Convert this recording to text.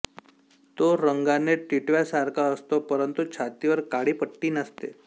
तो रंगाने टीटव्यासारखा असतो परंतु छातीवर काळी पट्टी नसते